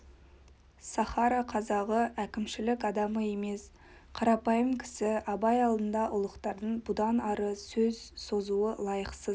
сахара қазағы әкімшілік адамы емес қарапайым кісі абай алдында ұлықтардың бұдан ары сөз созуы лайықсыз